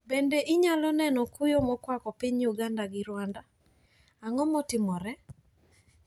Bende inyalo neno kuyo mokwako piny Uganda to gi Rwanda, ang`o matimore?